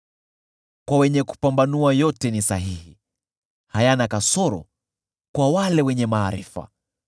Kwa wenye kupambanua yote ni sahihi; hayana kasoro kwa wale wenye maarifa.